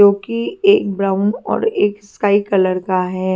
जो कि एक ब्राउन और एक स्काई कलर का है।